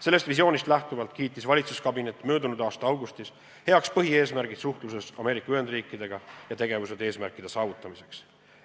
Sellest visioonist lähtuvalt kiitis valitsuskabinet möödunud aasta augustis heaks põhieesmärgid suhtluses Ameerika Ühendriikidega ja tegevused seatud eesmärkide saavutamiseks.